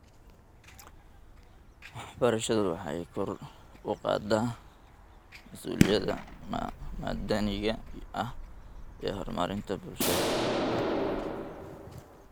Waxbarashadu waxay kor u qaadaa masuuliyadda madaniga ah iyo horumarinta bulshada .